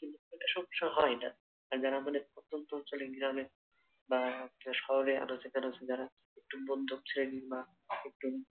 কিন্তু সমস্যা হয় না যারা আমাদের প্রত্যন্ত অঞ্চলে গ্রামে বা শহরে আনাচেকানাচে যারা বা একটু